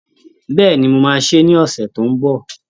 Bẹ́ẹ̀ni, mo máa sè é ní ọ̀sẹ̀ tó ń bọ̀